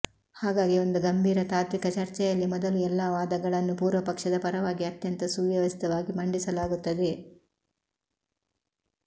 ಹಾಗಾಗಿ ಒಂದು ಗಂಭೀರ ತಾತ್ವಿಕ ಚರ್ಚೆಯಲ್ಲಿ ಮೊದಲು ಎಲ್ಲಾ ವಾದಗಳನ್ನೂ ಪೂರ್ವಪಕ್ಷದ ಪರವಾಗಿ ಅತ್ಯಂತ ಸುವ್ಯವಸ್ಥಿತವಾಗಿ ಮಂಡಿಸಲಾಗುತ್ತದೆ